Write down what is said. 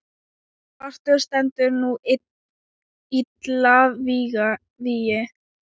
svartur stendur nú illa vígi.